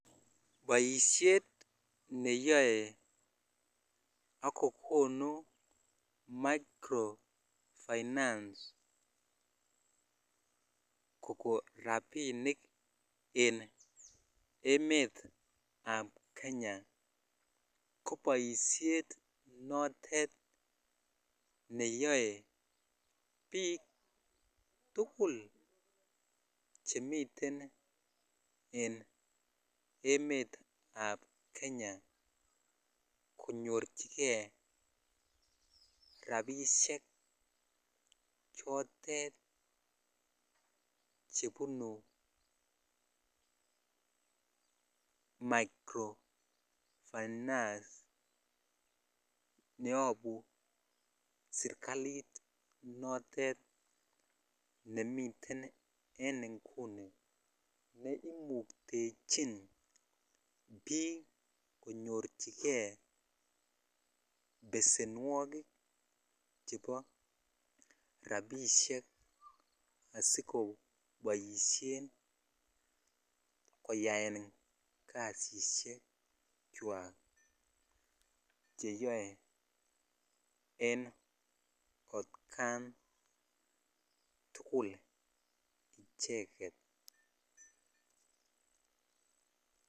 Boishet neyoe akokonu micro-finance Koko rapinik en emetab Kenya ko boishet notet neyoe biik tugul chemiten en emetab Kenya konyorchikee rapishek chotet chebunu micro-finance neyobu sirkalit notet nemiten en Nguni neimuktechin biik konyorchikee pesenwoki chebo rapishek asikoboishen koyaaen kasishek kwako cheyoen en kotkan tugul icheket